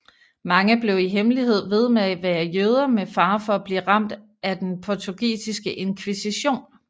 Mange blev i hemmelighed ved med at være jøder med fare for at blive ramt af den portugisiske inkvisition